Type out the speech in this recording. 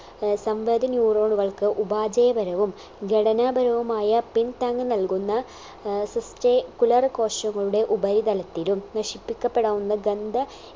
ഏർ സംവേദ neuron കൾക്ക് ഉപാജേപരവും ഘടനാപരവുമായ പിൻതാങ് നൽകുന്ന ഏർ sustentacular കോശങ്ങളുടെ ഉപരിതലത്തിലും നശിപ്പിക്കപ്പെടാവുന്ന ഗന്ധ